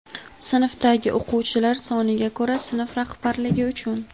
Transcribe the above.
Sinfdagi o‘quvchilar soniga ko‘ra sinf rahbarligi uchun:.